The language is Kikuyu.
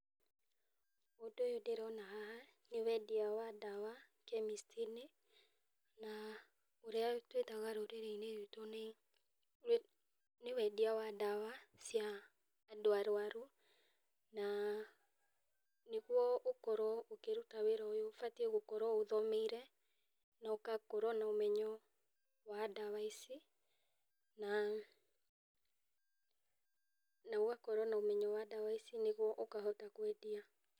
Ũndũ ũyũ ndĩroona haha nĩ wendia wa ndawa kĩmisti-inĩ, na ũrĩa twĩtaga rũũrĩ-inĩ ruitũ nĩ wendia wa ndawa cia andũ arwaru na nĩguo ũkorwo ũkĩruta wĩra oyũ ũbatiĩ gũkorwo ũthomeire na ũgakorwo nomenyo wa ndawa ici nĩguo ũkahota kwendia.